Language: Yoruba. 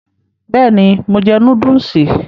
Bẹ́ẹ̀ni, mo jẹ núdùsì